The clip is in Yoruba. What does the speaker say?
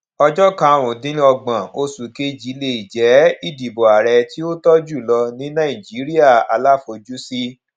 ọjọ karùnúndínọgbọn oṣù kejì lè jẹ ìdìbò ààrẹ tí ó tọ jùlọ ní nàìjíríà aláfojúsí